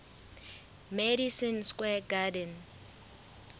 madison square garden